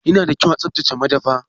Ya na da kyau a tsaftace madafa.